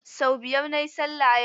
Sau biyar na yi sallah yau.